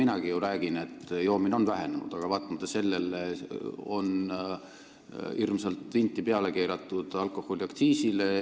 Seda ju minagi räägin, et joomine on vähenenud, aga sellele vaatamata on alkoholiaktsiisile hirmsalt vinti peale keeratud.